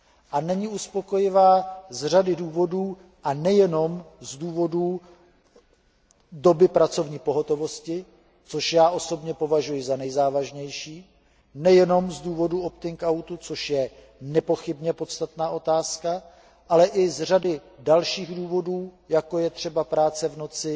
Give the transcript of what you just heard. A není uspokojivá z řady důvodů a nejenom z důvodů doby pracovní pohotovosti, což já osobně považuji za nejzávažnější, nejenom z důvodu opting outu, což je nepochybně podstatná otázka, ale i z řady dalších důvodů, jako je třeba práce v noci,